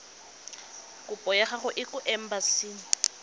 kopo ya gago kwa embasing